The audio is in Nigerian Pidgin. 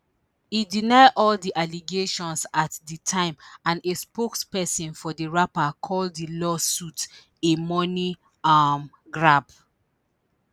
e deny all di allegations at di time and a spokesperson for di rapper call di lawsuits a money um grab